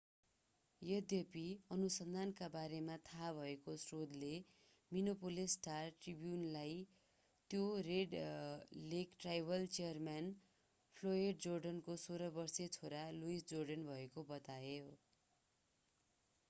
यद्यपि अनुसन्धानको बारेमा थाहा भएको स्रोतले मिनेपोलिस स्टार-ट्रिब्युनलाई त्यो Red Lake tribal chairman Floyd जोर्डेनको 16-वर्षे छोरा लुइस जोर्डन भएको बतायो